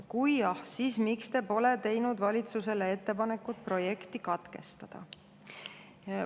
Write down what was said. Kui jah, siis miks Te pole teinud valitsusele ettepanekut projekti katkestada?